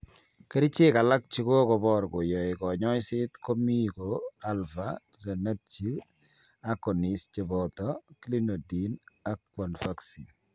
Kerichek alak chekokobor koyoe kanyoiset komie ko alpha adrenergic agonists cheboto clonidine ak guanfacine.